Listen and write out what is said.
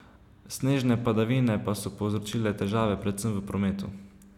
Snežne padavine pa so povzročile težave predvsem v prometu.